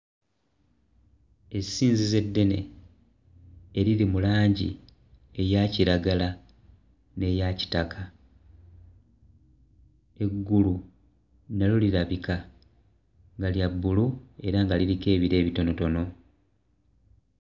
Essinzizo eddene eriri mu langi eya kiragala n'eya kitaka eggulu nalyo lirabika nga lya bbulu era nga liriko ebire ebitonotono.